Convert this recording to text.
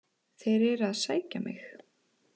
Þeir eru að sækja mig.